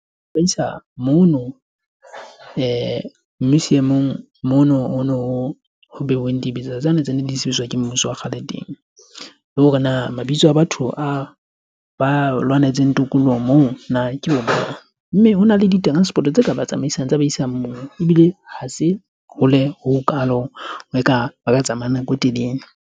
Ho utlwisa mono seemong ho beuweng dibetsa tsena di sebediswa ke mmuso wa kgale teng le hore na mabitso a batho a ba lwanetseng tokoloho moo na ke ona, mme hona le di-transport-o tse ka ba tsamaisang tse ba isang moo ebile ha se hole ha kalo, ha eka ba ka tsamaya nako e telele.